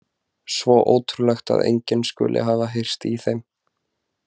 Svo ótrúlegt að enginn skuli hafa heyrt í þeim.